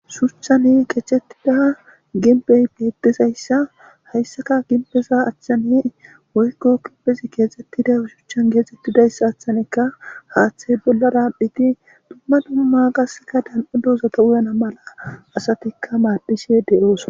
Shuchani kechettida ginpey beettizayssa hayssaka ginpeza achchani woykko kipezi keexxettida shuchan geexxettidayssa achanekka haaththey bollaraadhdhiti dumma dumma qasseka dan'u dozata uyana mala asatikka maadishe de'oos.